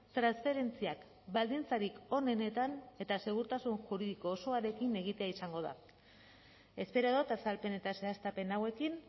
transferentziak baldintzarik onenetan eta segurtasun juridiko osoarekin egitea izango da espero dut azalpen eta zehaztapen hauekin